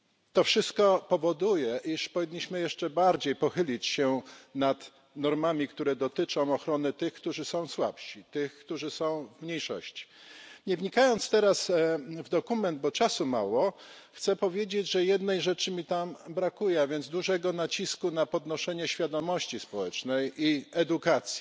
To wszystko powoduje, iż powinniśmy jeszcze bardziej pochylić się nad normami, które dotyczą ochrony tych, którzy są słabsi, tych, którzy są w mniejszości. Nie wnikając teraz w dokument, bo czasu mało, chcę powiedzieć, że jednej rzeczy mi tam brakuje, a więc dużego nacisku na podnoszenie świadomości społecznej i edukację.